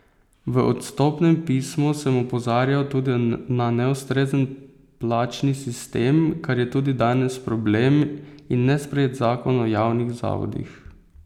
V odstopnem pismu sem opozarjal tudi na neustrezen plačni sistem, kar je tudi danes problem, in nesprejet zakon o javnih zavodih.